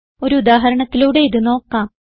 ഒരു ഉദാഹരണത്തിലൂടെ ഇത് നോക്കാം